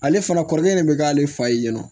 Ale fana kɔrɔkɛ de bɛ k'ale fa ye nin nɔ